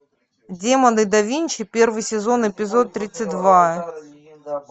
демоны да винчи первый сезон эпизод тридцать два